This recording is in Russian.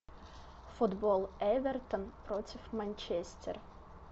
футбол эвертон против манчестер